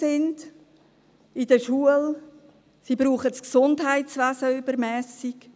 Bis diese in der Schule integriert sind, brauchen sie das Gesundheitswesen übermässig.